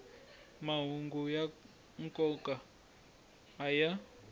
mahungu ya nkoka a ya